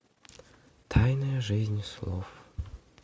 тайная жизнь слов